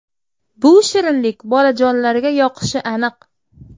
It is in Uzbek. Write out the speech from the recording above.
Bu shirinlik bolajonlarga yoqishi aniq.